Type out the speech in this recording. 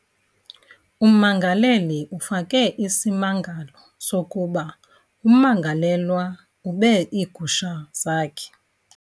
Ummangaleli ufake isimangalo sokuba ummangelelwa ube iigusha zakhe.